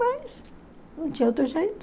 Mas não tinha outro jeito.